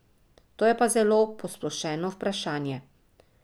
To je pa zelo posplošeno vprašanje.